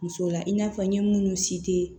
Muso la i n'a fɔ n ye minnu